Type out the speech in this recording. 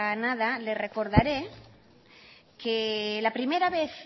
nada le recordaré que la primera vez